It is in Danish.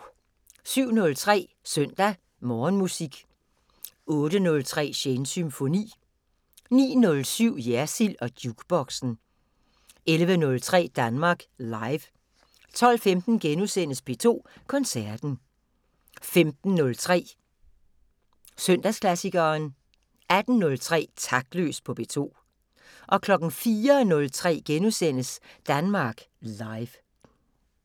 07:03: Søndag Morgenmusik 08:03: Shanes Symfoni 09:07: Jersild & Jukeboxen 11:03: Danmark Live 12:15: P2 Koncerten * 15:03: Søndagsklassikeren 18:03: Taktløs på P2 04:03: Danmark Live *